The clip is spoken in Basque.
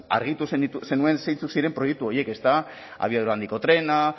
argitu zenuen zeintzuk ziren proiektu horiek abiadura handiko trena